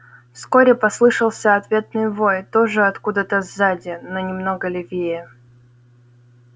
вскоре послышался ответный вой тоже откуда то сзади но немного левее